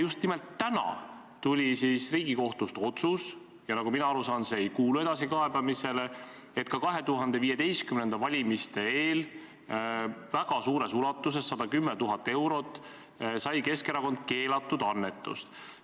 Just nimelt täna tuli Riigikohtu otsus – ja nagu mina aru saan, see ei kuulu edasikaebamisele –, et ka 2015. aasta valimiste eel väga suures ulatuses, 110 000 eurot sai Keskerakond keelatud annetust.